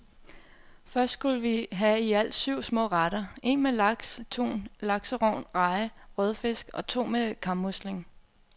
Først skulle vi have i alt syv små retter, en med laks, tun, lakserogn, reje, rødfisk og to med kammusling.